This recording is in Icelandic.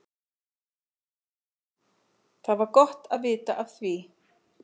Það var gott að vita af því.